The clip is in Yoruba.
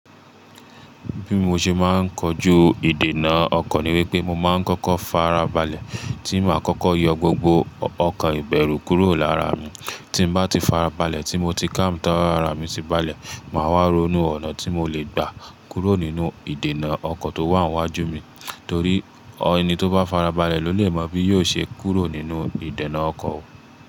Bí mo ṣe máa ń kojú ìdènà ọkọ̀ ni wípé mo máa ń kọ́kọ́ farabalẹ̀ tí mo à kọ́kọ́ yọ gbogbo ọkàn ìbẹ̀rù kúrò lára mi, tí bá ti farabalẹ̀ tí mo ti kám'ta ara mi sí balẹ̀, màá wá ronú ọ̀nà tí mo le gbà kúrò nínú ìdènà ọkọ̀ tó wà níwájú mi. Torí ẹni tó bá farabalẹ̀ ló lè mọ bí yóò ṣe kúrò nínú ìdènà ọkọ̀